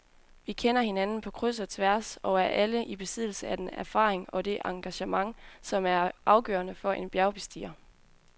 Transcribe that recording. Vi kender hinanden på kryds og tværs og er alle i besiddelse af den erfaring og det engagement, som er afgørende for en bjergbestiger.